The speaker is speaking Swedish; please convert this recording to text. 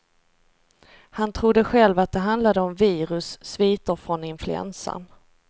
Han trodde själv att det handlade om virus, sviter från influensan.